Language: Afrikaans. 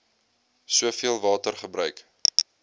soveel water gebruik